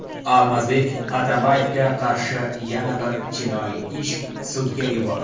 Almazbek Atamboyevga qarshi yana bir jinoiy ish sudga yuborildi.